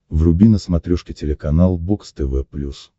вруби на смотрешке телеканал бокс тв плюс